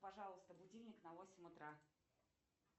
пожалуйста будильник на восемь утра